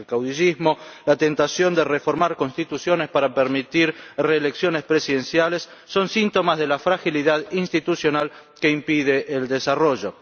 El caudillismo o la tentación de reformar constituciones para permitir las reelecciones presidenciales son síntomas de la fragilidad institucional que impide el desarrollo.